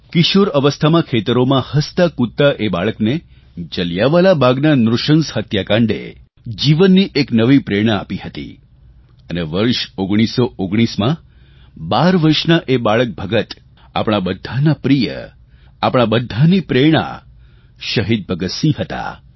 કિશોર અવસ્થામાં ખેતરોમાં હસતાકૂદતા એ બાળકને જલિયાંવાલા બાગના નૃશંસ હત્યાકાંડે જીવનની એક નવી પ્રેરણા આપી હતી અને વર્ષ 1919ના 12 વર્ષના એ બાળક ભગત આપણા બધાના પ્રિય આપણા બધાની પ્રેરણા શહીદ ભગતસિંહ હતા